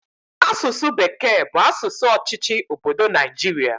Asụsụ bekee bụ asụsụ ọchịchị obodo Naijiria